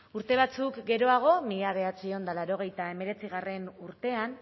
urte batzuk geroago mila bederatziehun eta laurogeita hemeretzigarrena urtean